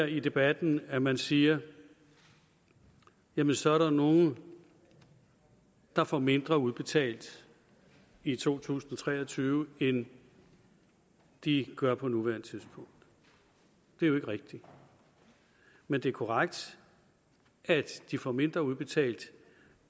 i debatten at man siger jamen så er der nogle der får mindre udbetalt i to tusind og tre og tyve end de gør på nuværende tidspunkt det er jo ikke rigtigt men det er korrekt at de får mindre udbetalt